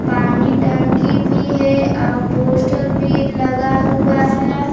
पानी टंकी भी है और पोस्टर भी लगा हुआ है।